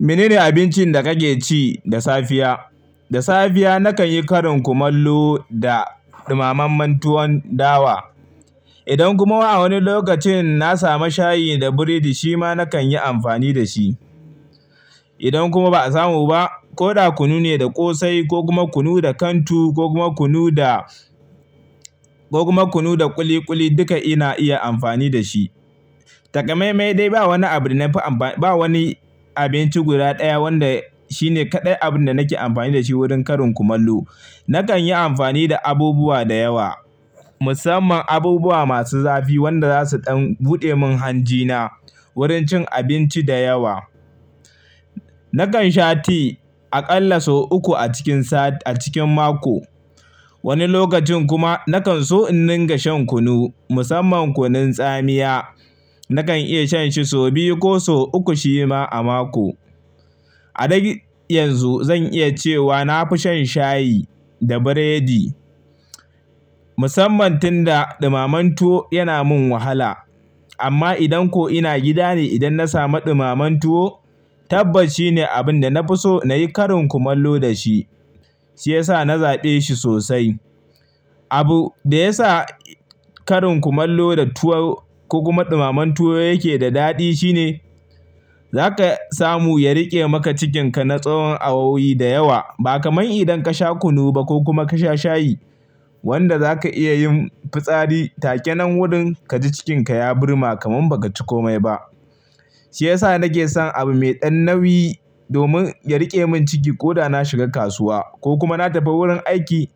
Mene ne abincin da kake ci da safiya? Da safiya nakan yi karin kumallo da ɗumamen tuwon dawa. Idan kuma wai a woni lokacin na samu shayi da biredi shi ma nakan yi amfani da shi. Idon kuma ba a samu ba, ko da kunu ne da ƙosai ko kuma kunu da kantu ko kuma kunu da, ko kuma kunu da ƙuli ƙuli duka ina iya amfani da shi. Takamai-mai dai ba woni abu da na nafi amfani, ba woni abinci guda ɗaya wanda shine kaɗai abun da nake amfani da shi wurin karin kumallo. Nakan yi amfani da abubuwa da yawa, musamman abubuwa masu zafi wanda za su ɗan buɗe min hanjina wurin cin abinci da yewa. Nakan sha ti a ƙalla sau uku a cikin sati a cikin mako. Woni lokacin kuma nakan so in ninga shan kunu, musamman kunun tsamiya. Nakan iya shan shi sau biyu ko sau uku shi ma a mako. A dai yanzu zan iya cewa na fi shan shayi da biredi musamman tun da ɗumamen tuwo yana min wahala. Amma idan ko ina gida ne idan na samu ɗumamen tuwo, tabbas shine abun da na fi so na yi karin kumallo da shi, shi yasa na zaɓe shi sosai. Abu da ya sa karin kumallo da tuwo ko kuma ɗumamen tuwo yake da daɗi shine zaka samu ya riƙe maka cikinka na tsawon awowi da yawa. Ba kamar idan ka sha kunu ba ko kuma ka sha shayi wanda za ka iya yin pitsari take nan wurin ka ji cikinka ya burma kamar baka ci komai ba. Shi yasa nake son abu mai ɗan nauyi domin ya riƙe min ciki ko da na shiga kasuwa ko kuma na tafi wurin aiki.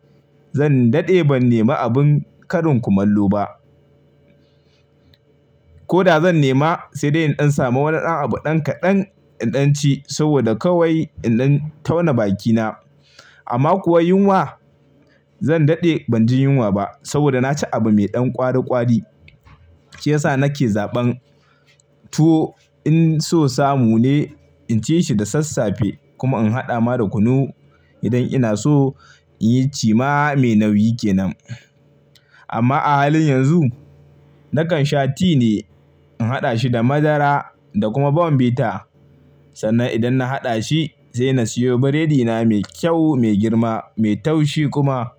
Zan daɗe ban nema abun karin kumallo ba. Ko da zan nema sai dai in samu woni ɗan abu ɗan kaɗan in ɗan ci saboda kawai in ɗan tauna bakina. Amma kuwa yunwa zan daɗe ban ji yunwa ba saboda na ci abu mai ɗan ƙwari ƙwari. Shi yasa nake zaɓan tuwo in so samu ne in ci shi da sassafe kuma in haɗa ma da kunu idan ina so in yi ci ma me nauyi ke nan. Amma a halin yanzu nakan sha ti ne in haɗa shi da madara da kuma bombita sannan idan na haɗa shi sai na siyo biredina mai kyau, mai girma, mai taushi kuma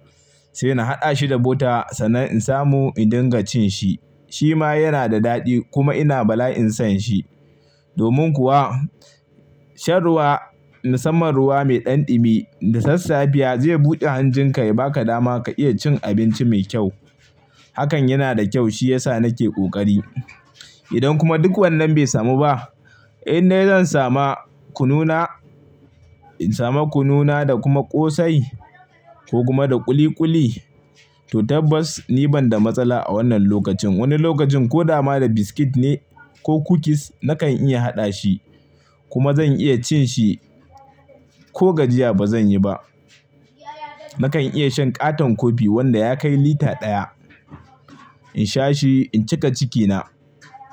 sai na haɗa shi da butter sannan in samu in dinga cin shi. Shi ma yana da daɗi kuma ina bala'in son shi. Domin kuwa shan ruwa musamman ruwa mai ɗan ɗumi da sassafiya zai buɗe hanjinka ya ba ka dama ka iya cin abinci mai kyau. Hakan yana da kyau shi yasa nake ƙoƙari. Idon kuma duk wannan bai samu ba, in dai zan sama kununa, in samu kununa da kuma ƙosai ko kuma da kuli kuli to tabbas ni ban da matsala a wannan lokacin. Woni lokacin ko dama da biskit ne ko kukis nakan iya haɗa shi kuma zan iya cin shi ko gajiya ba zan yi ba. Nakan iya shan ƙaton kofi wanda ya kai lita ɗaya. In sha shi in cika cikina.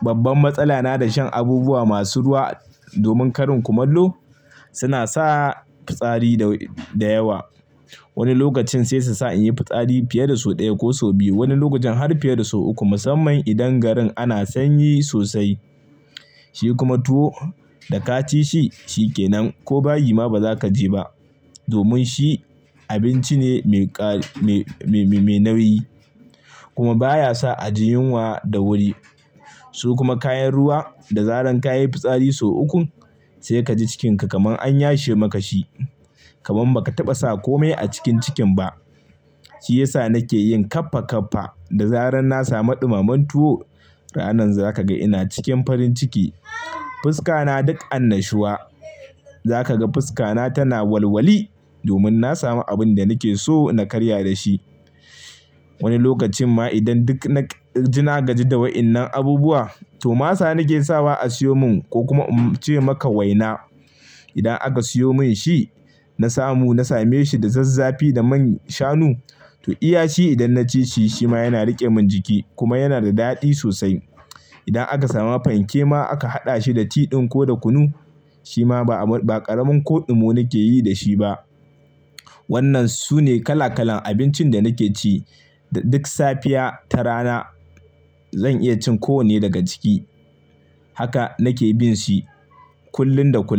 Babban matsala na da shan abubuwa masu ruwa domin karin kumallo suna sa pitsari da, da yawa. Wani lokacin sai su sa in yi fitsari fiye da sau ɗaya ko sau biyu. Wani lokacin har fiye da sau uku musamman idan garin ana sanyi sosai. Shi kuma tuwo da ka ci shi shi ke nan ko bayi ma ba za ka je ba domin shi abinci ne mai ƙa, me, me, me nauyi kuma baya sa a ji yunwa da wuri. Su kuma kayan ruwa da zaran ka yi pitsari sau uku sai ka ji cikinka kaman an yashe maka shi, kaman baka taɓa sa komai a cikin cikin ba. Shi yasa nake yin ƙappa ƙappa da zaran na samu ɗumamen tuwo. Ranan za ka ga ina cikin parin ciki. Fuska na duk annashuwa. Za ka ga fuska na tana walwali domin na samu abin da nake so na karya da shi. Woni lokacin ma idan duk na gaji da waɗannan abubuwa to masa nake sawa a siyo mun ko kuma in ce maka waina. Idan aka siyo min shi na samu, na same shi da zazzafi da man shanu to iya shi idan na ci shi shi ma yana riƙe min jiki kuma yana da daɗi sosai. Idan aka sama panke ma aka haɗa shi da tiɗin ko da kunu shi ma ba, ba ƙaramin koɗu mu nake yi da shi ba. Wannan sune kala kalan abincin da nake ci duk safiya ta rana. Zan iya cin ko wonne daga ciki. Haka nake bin shi kullun da kullum.